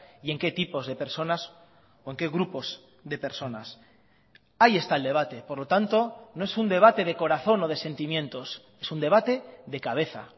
y en qué tipos de personas o en qué grupos de personas ahí está el debate por lo tanto no es un debate de corazón o de sentimientos es un debate de cabeza